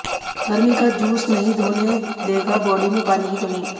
गर्मी का जूस नहीं होने देगा बॉडी में पानी की कमी